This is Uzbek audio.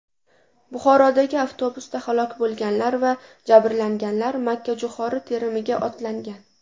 Buxorodagi avtobusda halok bo‘lganlar va jabrlanganlar makkajo‘xori terimiga otlangan.